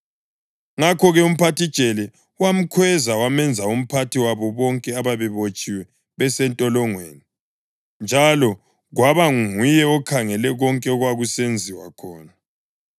Ngakho-ke umphathijele wamkhweza wamenza umphathi wabo bonke ababebotshiwe besentolongweni, njalo kwaba nguye okhangele konke okwakusenziwa khona.